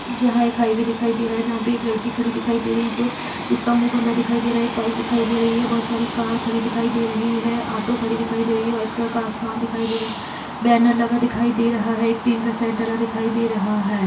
यहां एक हाईवे दिखाई दे रहा है जहां पे एक लड़की दिखाई दे रही है जो जिसका मुंह बंधा दिखाई दे रहा है एक बाइक दिखाई दे रही है बहुत सारी कार खड़ी दिखाई दे रही है ऑटो खड़ी दिखाई दे रही है व्हाइट कलर का आसमान दिखाई दे रहा है बैनर लगा दिखाई दे रहा है एक टीन का शेड डला दिखाई दे रहा है।